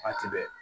Waati bɛɛ